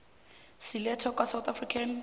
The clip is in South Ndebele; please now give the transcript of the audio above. silethwa kwasouth african